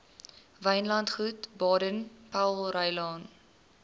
wynlandgoed baden powellrylaan